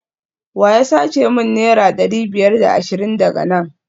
wa ya sace min naira dari biyar da ashirin daga nan?